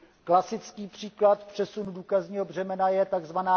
Klasický příklad v přesunu důkazního břemena je tzv.